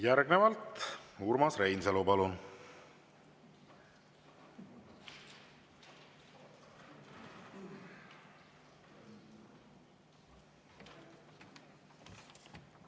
Järgnevalt Urmas Reinsalu, palun!